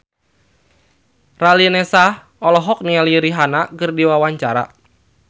Raline Shah olohok ningali Rihanna keur diwawancara